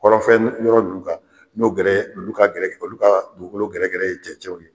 Kɔrɔnfɛn yɔrɔ ninnu kan n'o gɛrɛ olu ka gɛrɛ olu ka dugukolo gɛrɛ gɛrɛ ye cɛncɛn ye.